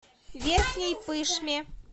верхней пышме